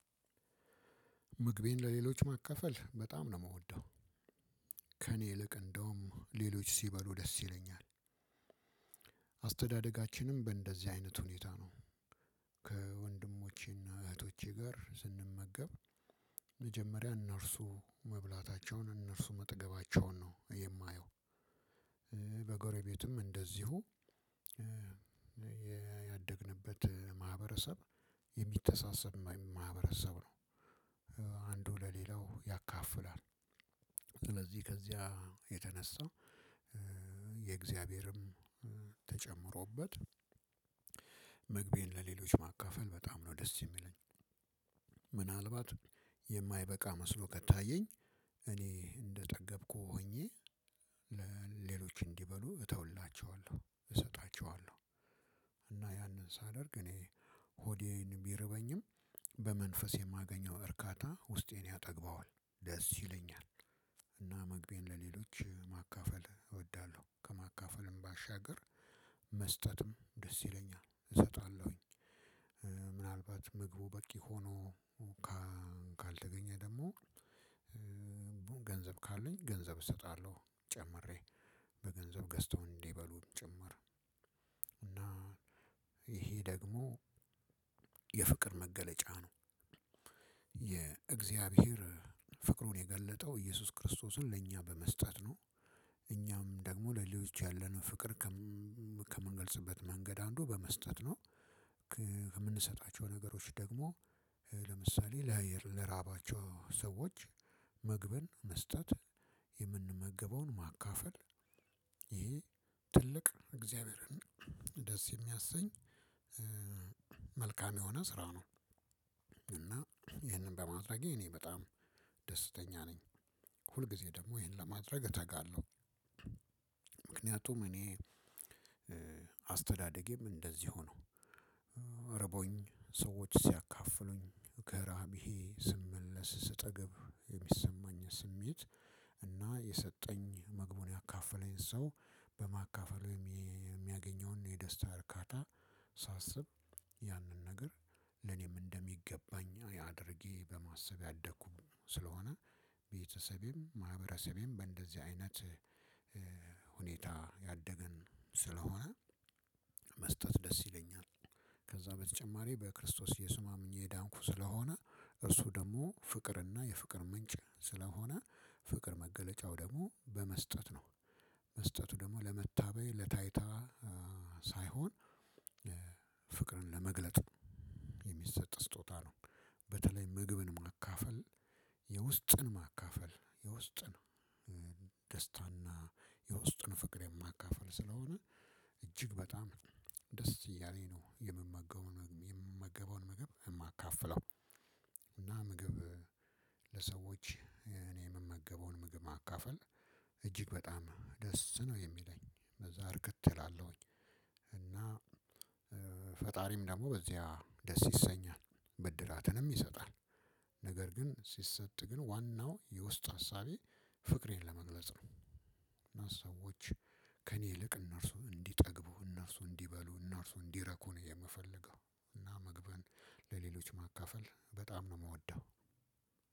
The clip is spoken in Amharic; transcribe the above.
ምግቤን ለሌሎች ማካፈል በጣም ነው የምወደው ከእኔ ይልቅ እንደውም ሌሎች ሲበሉ ደስ ይለኛል። አስተዳደጋችንም በእንደዚህ አይነት ሁኔታ ነው። ከወንድሞቼና እህቶቼ ጋር ስንመገብ። መጀመሪያ እነርሱ መብላታቸውን እነርሱ መጥገባቸውን ነው የማየው። በጎረቤትም እንደዚሁ። ያደግንበት ማህበረሰብ የሚተሳሰብ ማህበረሰብ ነው። አንዱ ለሌላው ያካፍላል። ስለዚህ ከዚያ የተነሳው የእግዚአብሔርም ተጨምሮበት ምግቤን ለሌሎች ማካፈል በጣም ነው ደስ የሚለኝ። ምናልባት የማይበቃ መስሎ ከታየኝ እኔ እንደጠገብኩ ሆኜ ሌሎች እንዲበሉ እተውላቸዋለሁ እሰጣቸዋለሁ። እና ያንን ሳደርግ እኔ ሆዴን ቢርበኝም በመንፈስ የማገኘው እርካታ ውስጤን ያጠግባዋል ደስ ይለኛል። እና ምግቤን ለሌሎች ማካፈል እወዳለሁ። ከማካፈልም ባሻገር መስጠትም ደስ ይለኛል እሰጣለሁኝ። ምግቡ በቂ ሆኖ ካልተገኘ ደግሞ ገንዘብ ካለኝ ገንዘብ እሰጣለሁ ጨምሬ በገንዘብ ገዝተው እበሉም ጭምር። ይሄ ደግሞ የፍቅር መገለጫ ነው። የእግዚአብሔር ፍቅሩን የገለጠው ኢየሱስ ክርስቶስን ለእኛ በመስጠት ነው። እኛም ደግሞ ሌሎች ያለንን ፍቅር ከምንገልጽበት መንገድ አንዱ በመስጠት ነው። ከምንሰጣቸው ነገሮች ደግሞ ለምሳሌ ለራባቸው ሰዎች ምግብን መስጠት የምንመገበውን ማካፈል ይሄ ትልቅ እግዚአብሔርን ደስ የሚያሰኝ መልካም የሆነ ስራ ነው። እና ይህንን በማድረጌ እኔ በጣም ደስተኛ ነኝ። ሁልጊዜ ደግሞ ይሄን ለማድረግ እተጋለሁ። እኔ አስተዳደጌም እንደዚህ ሆኖ ኧርቦኝ ሰዎች ሲያካፍሉኝ ከራቢሄ ስመለስ ስጠገብ የሚሰማኝን ስሜት እና የሰጠኝ ምግቡን ያካፈለኝ ሰው በማካፈል የሚያገኘውን የደስታ እርካታ ሳስብ ያንን ነገር ለኔም እንደሚገባኝ አድርጌ በማሰብ ያደኩ ስለሆነ ቤተሰቤም ማህበረሰቤም በእንደዚህ አይነት ሁኔታ ያደገን ስለሆነ መስጠት ደስ ይለኛል። ከዛ በተጨማሪ በክርስቶስ የስማምኜ የዳንኩ ስለሆነ እርሱ ደግሞ ፍቅርና የፍቅር ምንጭ ስለሆነ ፍቅር መገለጫው ደግሞ በመስጠት ነው። መስጠቱ ደግሞ ለመታበይ ለታይታ ሳይሆን ፍቅርን ለመግለጥ የሚሰጥ ስጦታ ነው። በተለይ ምግብን ማካፈል የውስጥን ማካፈል የውስጥን ደስታና የውስጥን ፍቅር የማካፍል ስለሆነ እጅግ በጣም ደስ እያለኝ ነው የምመገበው የምመገበውን ምግብ የማካፍለው። እና ምግብ ለሰዎች እኔ የምመገበውን ምግብ ማካፈል እጅግ በጣም ደስ ነው የሚለኝ በዛ እርክት እላለሁኝ። እና ፈጣሪም ደግሞ በዚያ ደስ ይሰኛል በድላትንም ይሰጣል። ነገር ግን ሲሰጥ ግን ዋናው የውስጥ ሀሳቤ ፍቅሬን ለመግለጽ ነው። እና ሰዎች ከእኔ ይልቅ እነርሱ እንዲጠግቡ እነርሱ እንዲበሉ እነርሱ እንዲረኩ ነው የምፈልገው። እና መግብን ለሌሎች ማካፈል በጣም ነው የምወደው።